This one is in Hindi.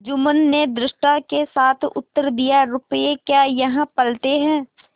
जुम्मन ने धृष्टता के साथ उत्तर दियारुपये क्या यहाँ फलते हैं